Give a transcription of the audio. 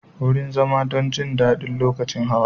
Wurin zama don jin daɗi lokacin hawa.